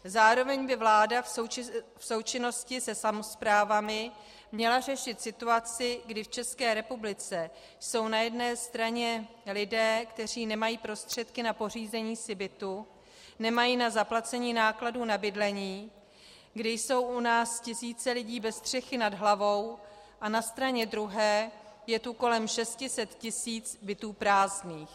Zároveň by vláda v součinnosti se samosprávami měla řešit situaci, kdy v České republice jsou na jedné straně lidé, kteří nemají prostředky na pořízení si bytu, nemají na zaplacení nákladů na bydlení, kdy jsou u nás tisíce lidí bez střechy nad hlavou, a na straně druhé je tu kolem 600 tisíc bytů prázdných.